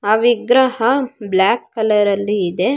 ಆ ವಿಗ್ರಹ black colour ಲ್ಲಿ ಇದೆ.